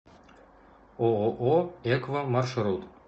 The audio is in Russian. ооо экво маршрут